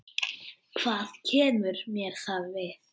Hvað kemur mér það við?